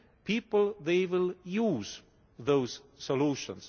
people they will use those solutions.